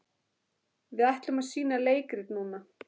Við ætlum að sýna leikrit núna.